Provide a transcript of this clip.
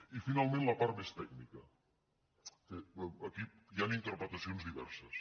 i finalment la part més tècnica que aquí bé hi han interpretacions diverses